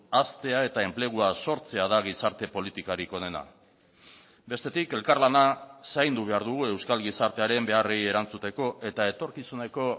haztea eta enplegua sortzea da gizarte politikarik onena bestetik elkarlana zaindu behar dugu euskal gizartearen beharrei erantzuteko eta etorkizuneko